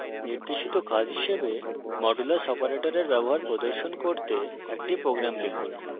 নির্দেশিত কাজ হিসাবে মডুলাস অপারেটরের ব্যবহার প্রদর্শন করতে একটি প্রোগ্রাম লিখুন